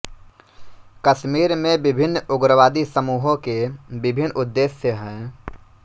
कश्मीर में विभिन्न उग्रवादी समूहों के विभिन्न उद्देश्य हैं